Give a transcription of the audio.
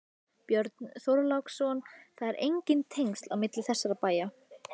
Björn Þorláksson: Það eru engin tengsl á milli þessara bæja?